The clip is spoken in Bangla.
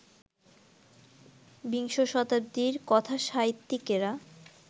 বিংশ শতাব্দীর কথাসাহিত্যিকেরা